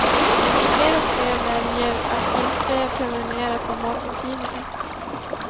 Fler och fler väljer att inte prenumerera på morgontidning.